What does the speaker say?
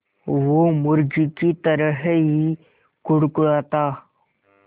वो मुर्गी की तरह ही कुड़कुड़ाता